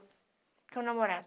Tinha um namorado.